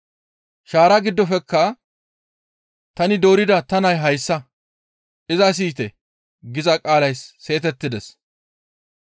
Shaaraa giddofekka, «Tani doorida ta nay hayssa; iza siyite» giza qaalay seetettides.